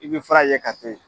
I bɛ fura ye ka to yen.